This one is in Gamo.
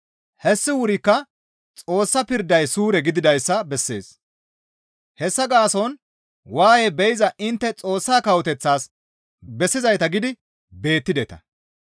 Hessi wurikka Xoossa pirday suure gididayssa bessees; hessa gaason waaye be7iza intte Xoossa Kawoteththas bessizayta gidi beettideta.